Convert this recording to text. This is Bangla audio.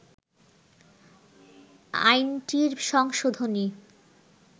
আইনটির সংশোধনী